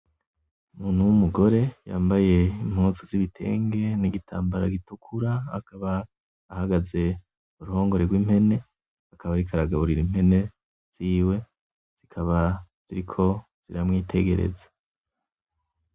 Umuntu w'umugore yambaye impuzu z'ibitenge n'igitambara gitukura. Akaba ahagaze mu ruhongore rw'impene, akaba ariko aragaburira impene ziwe. Zikaba ziriko ziramwitegereza.